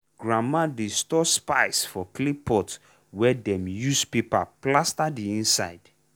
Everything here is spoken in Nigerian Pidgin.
grandma dey store spice for clay pot wey dem use paper plaster the inside.